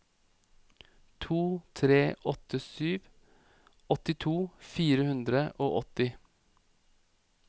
to tre åtte sju åttito fire hundre og åtti